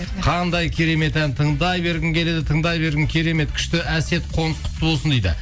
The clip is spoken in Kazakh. қандай керемет ән тыңдай бергім келеді тыңдай бергім керемет күшті әсет қоныс құтты болсын дейді